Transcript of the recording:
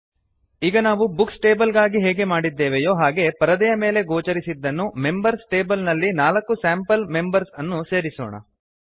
ಈಗ ನಾವು books table ಗಾಗಿ ಹೇಗೆ ಮಾಡಿದ್ದೇವೆಯೋ ಹಾಗೆ ಪರದೆಯ ಮೇಲೆ ಗೋಚರಿಸಿದ್ದನ್ನು ಮೆಂಬರ್ಸ್ ಟೇಬಲ್ ನಲ್ಲಿ 4 ಸ್ಯಾಂಪಲ್ ಮೆಂಬರ್ಸ್ ಅನ್ನು ಸೇರಿಸೋಣ